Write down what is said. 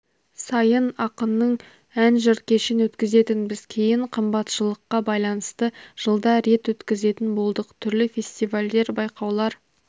сайын ақынның ән-жыр кешін өткізетінбіз кейін қымбатшылыққа байланысты жылда рет өткізетін болдық түрлі фестивальдер байқаулар